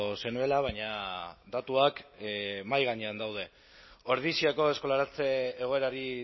zenuela baina datuak mahai gainean daude ordiziako eskolaratze egoerari